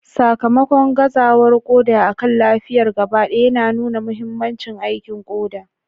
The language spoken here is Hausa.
Sakamakon gazawar koda akan lafiyar gabaɗaya yana nuna mahimmancin aikin koda.